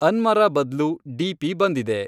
ಅನ್ಮರಾ ಬದ್ಲು ಡಿ.ಪಿ. ಬಂದಿದೆ